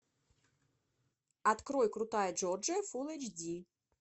открой крутая джорджия фул эйч ди